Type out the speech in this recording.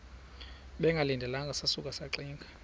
bengalindelanga sasuka saxinga